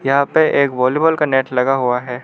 यहां पे एक वॉलीबॉल का नेट लगा हुआ है।